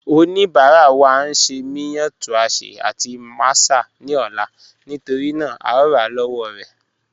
Ọnibara wa n ṣẹ miyan tuásẹ̀ àti màsà ni ọ̀la nítorína à o rà lọ́wọ̀ rẹ̀